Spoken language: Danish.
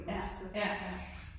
Ja. Ja, ja